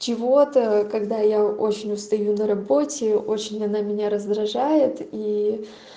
чего-то когда я очень устаю на работе очень она меня раздражает и